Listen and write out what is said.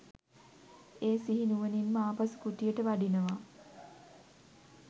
ඒ සිහි නුවණින්ම ආපසු කුටියට වඩිනවා.